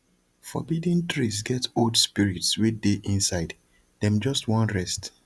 forbidden trees get old spirits wey dey inside dem just wan rest